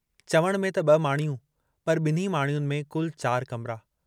चवण में त ब॒ माड़ियूं पर बिन्हीं माड़ियुनि में कुल चार कमरा।